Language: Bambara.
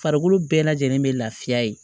Farikolo bɛɛ lajɛlen be lafiya ye